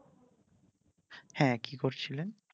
হ্যাঁ কি করছিলেন?